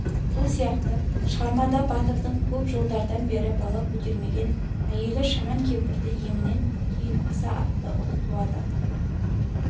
сол сияқты шығармада батырдың көп жылдардан бері бала көтермеген әйелі шаман кемпірдің емінен кейін асан атты ұл туады